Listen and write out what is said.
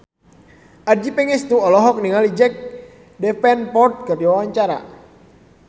Adjie Pangestu olohok ningali Jack Davenport keur diwawancara